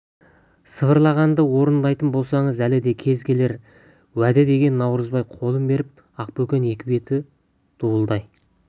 сыбырлағанды орындайтын болсаңыз әлі де кезі келер уәде деген наурызбай қолын беріп ақбөкен екі беті дуылдай